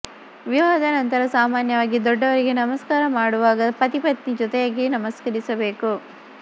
ವಿವಾಹದ ನಂತರ ಸಾಮಾನ್ಯವಾಗಿ ದೊಡ್ಡವರಿಗೆ ನಮಸ್ಕಾರ ಮಾಡುವಾಗ ಪತಿಪತ್ನಿ ಜೊತೆಯಾಗಿ ನಮಸ್ಕರಿಸಬೇಕು